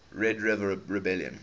red river rebellion